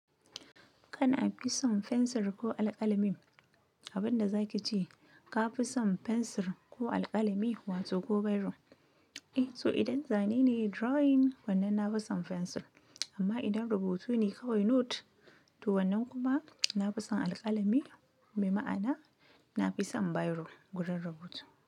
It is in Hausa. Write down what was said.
Kana fi son fensir ko alƙalami? Abin da za ki ce ka fi son fensir ko alƙalami, wato ko biro. Eh, to idan zane ne drawing wannan na fi son fensir, amma idan rubutu ne kawai note, to wannan kuma na fi son alƙalami, me ma'ana na fi son biro gurin rubutu.